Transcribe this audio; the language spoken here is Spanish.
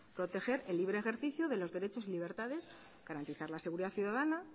proteger el libre ejercicio de los derechos y libertades garantizar la seguridad ciudadana